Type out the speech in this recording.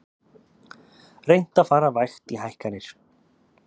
Reynt að fara vægt í hækkanir